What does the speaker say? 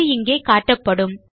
அது இங்கே காட்டப்படும்